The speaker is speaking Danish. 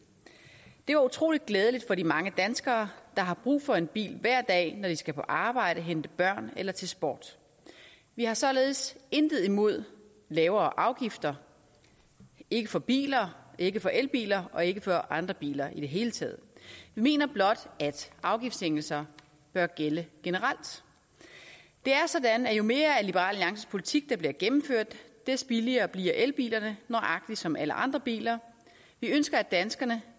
det var utrolig glædeligt for de mange danskere der har brug for en bil hver dag når de skal på arbejde hente børn eller til sport vi har således intet imod lavere afgifter ikke for biler ikke for elbiler og ikke for andre biler i det hele taget vi mener blot at afgiftssænkelser bør gælde generelt det er sådan at jo mere af liberal alliances politik der bliver gennemført des billigere bliver elbilerne nøjagtig som alle andre biler vi ønsker at danskerne